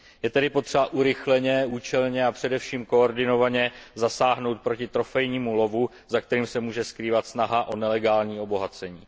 Je tedy potřeba urychleně, účelně a především koordinovaně zasáhnout proti trofejnímu lovu, za kterým se může skrývat snaha o nelegální obohacení.